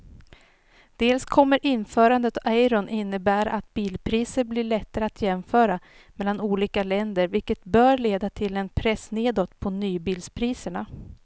Dels kommer införandet av euron innebära att bilpriser blir lättare att jämföra mellan olika länder vilket bör leda till en press nedåt på nybilspriserna.